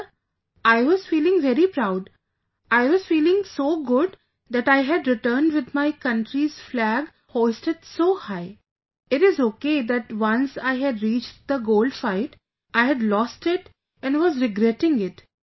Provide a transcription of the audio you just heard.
Sir, I was feeling very proud, I was feeling so good that I had returned with my country's flag hoisted so high... it is okay that once I had reached the Gold Fight, I had lost it and was regretting it